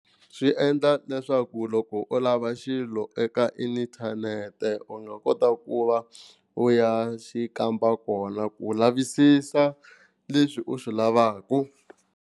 Swi endla leswaku loko u lava xilo eka inthanete u nga kota ku va u ya xi kamba kona ku lavisisa leswi u swi lavaka.